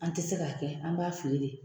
An tɛ se k'a kɛ an b'a fili de